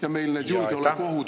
Mart Helme, teie aeg!